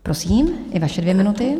Prosím, i vaše dvě minuty.